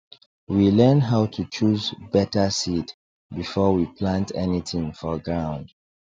we learn how to choose better seed before we plant anything for ground